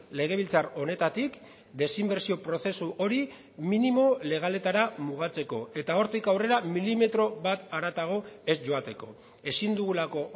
legebiltzar honetatik desinbertsio prozesu hori minimo legaletara mugatzeko eta hortik aurrera milimetro bat haratago ez joateko ezin dugulako